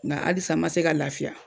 Nga alisa n ma se ka lafiya